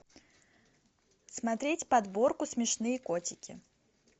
смотреть подборку смешные котики